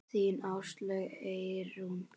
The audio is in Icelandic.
Þín Áslaug Eyrún.